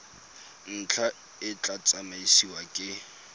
ntlha e tla tsamaisiwa ke